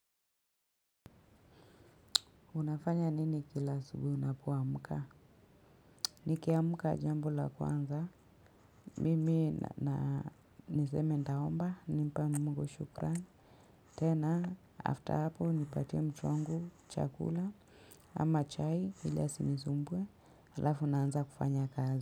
Unafanya nini kila asubuhi unapoamka? Nikiamka jambo la kwanza. Mimi na niseme nitaomba, nimpa mungu shukran. Tena, after hapo, nipatie mtu wangu, chakula, ama chai, ili asinisumbue, alafu naanza kufanya kazi.